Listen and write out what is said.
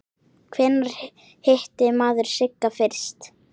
Hvenær hitti maður Sigga fyrst?